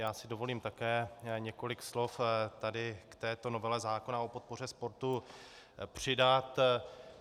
Já si dovolím také několik slov tady k této novele zákona o podpoře sportu přidat.